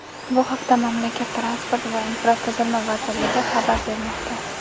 Bu haqda mamlakat transport va infratuzilma vazirligi xabar bermoqda.